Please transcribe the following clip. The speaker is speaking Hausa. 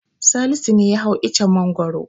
Salisu ne ya hau icen Mangwaro.